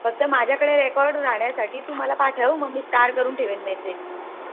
फक्त माझ्या कडे Record राहण्यासाठी तू मला पाठव. मी Star करून ठेवेल मी ते.